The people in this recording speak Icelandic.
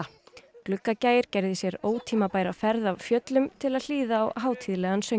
Gluggagægir gerði sér ótímabæra ferð af fjöllum til að hlýða á hátíðlegan söng